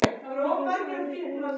Mikið æði greip um sig.